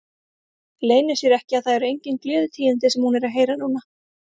Leynir sér ekki að það eru engin gleðitíðindi sem hún er að heyra núna.